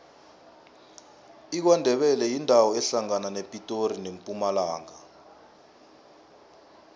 ikwandebele yindawo ehlangana nepitori nempumalanga